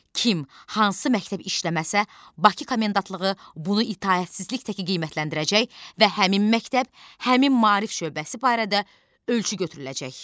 Kim hansı məktəb işləməsə, Bakı komendantlığı bunu itaətsizlik təki qiymətləndirəcək və həmin məktəb, həmin maarif şöbəsi barədə ölçü götürüləcək.